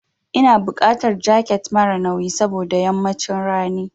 Ina buƙatar jaket mara nauyi saboda yammacin rani.